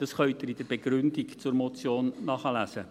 Dies können Sie in der Begründung zur Motion nachlesen.